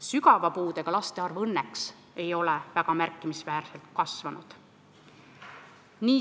Sügava puudega laste arv ei ole õnneks väga märkimisväärselt kasvanud.